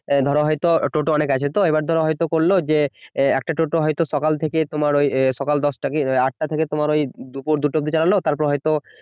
ধরো হয়ত টোটো অনেক আছে তো এবার হয়তো করল যে একটা টোটো হয়তো সকাল থেকে তোমার সকাল দশটা বা আটটা থেকে তোমার ওই দুপুর দুটো অবধি চালালো তারপর হয়তো